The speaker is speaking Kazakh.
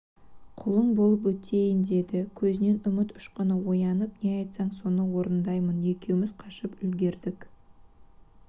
құлың болып өтейін деді көзінен үміт ұшқыны оянып не айтсаң соны орындаймын екеуміз қашып үлгердік